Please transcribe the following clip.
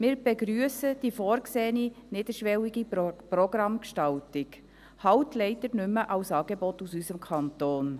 Wir begrüssen die vorgesehene niederschwellige Programmgestaltung, wenn auch leider nicht mehr als Angebot aus unserem Kanton.